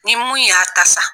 Ni mun y'a ta sa